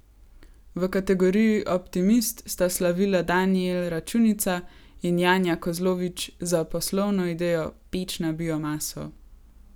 V kategoriji Optimist sta slavila Danijel Računica in Janja Kozlovič za poslovno idejo Peč na biomaso.